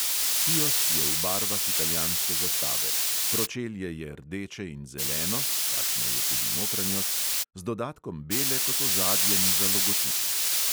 Kiosk je v barvah italijanske zastave: pročelje je rdeče in zeleno (takšna je tudi notranjost), z dodatkom bele kot ozadjem za logotip.